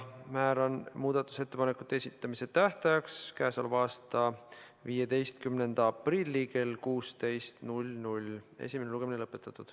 Määran muudatusettepanekute esitamise tähtajaks k.a 15. aprilli kell 16.